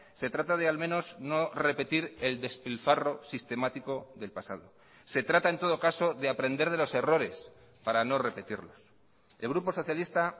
se trata de al menos no repetir el despilfarro sistemático del pasado se trata en todo caso de aprender de los errores para no repetirlos el grupo socialista